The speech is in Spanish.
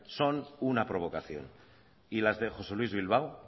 son una provocación y las de josé luís bilbao